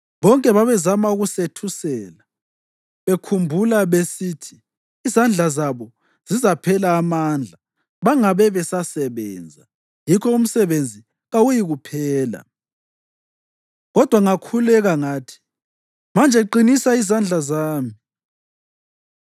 Bonke babezama ukusethusela, bekhumbula besithi, “Izandla zabo zizaphela amandla bangabe besasebenza, yikho umsebenzi kawuyikuphela.” Kodwa ngakhuleka ngathi, “Manje qinisa izandla zami.”